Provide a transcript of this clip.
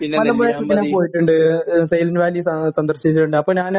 മലമ്പുഴയിൽ ഞാൻ പോയിട്ടുണ്ട്. Silent Valley സന്ദ...സന്ദർശിച്ചിട്ടുണ്ട്. ആയപ്പോൾ ഞാൻ